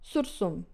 Sursum?